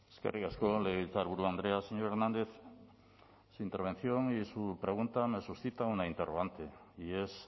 eskerrik asko legebiltzarburu andrea señor hernández su intervención y su pregunta me suscita una interrogante y es